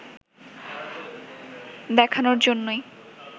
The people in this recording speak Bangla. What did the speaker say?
দেখানোর জন্যই